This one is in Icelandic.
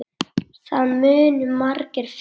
Það munu margir finna.